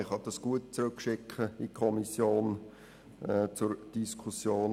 Man kann ihn gut zur Diskussion in die Kommission zurückschicken.